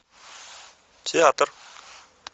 театр